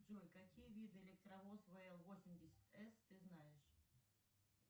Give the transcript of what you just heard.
джой какие виды электровоз вл восемьдесят с ты знаешь